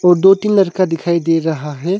दो तीन लड़का दिखाई दे रहा है।